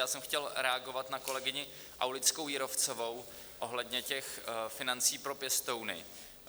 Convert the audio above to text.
Já jsem chtěl reagovat na kolegyni Aulickou Jírovcovou ohledně těch financí pro pěstouny.